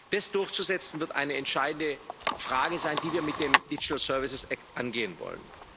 Das durchzusetzen, wird eine entscheidende Frage sein, die wir mit dem Digital Services Act angehen wollen.